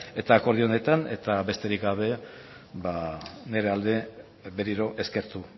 eta akordio honetan eta besterik gabe nire aldetik berriro eskertu